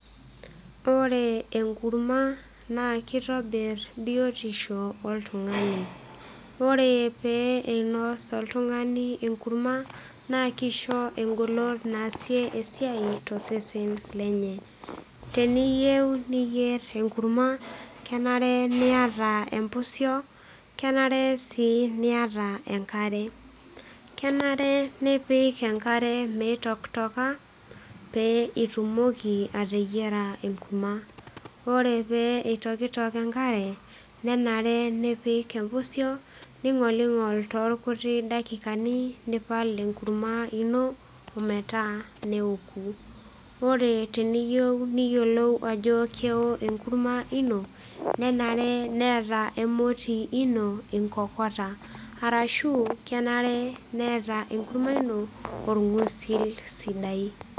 Ore enkurma naa kitobir biotisho oltung'ani , ore pee inos oltung'ani enkurma naa kisho eng'olon naasie esiai tosesen lenye. Teniyieu niyier enkurma , kenare niata empusio , kenare sii niata enkare , kenare nipik enkare mitoktoka pee itumoki ateyiera enkurma. Ore pee itoktok enkare , nenare nipik empusio , ning'oling'ol toornkuti daikani nipal enkurma ino ometaa neoku . Ore teniyieu niyiolou ajo keo enkurma ino , nenare neeta emoti ino inkokota ashu kenare neeta enkurma ino orng'usil sidai.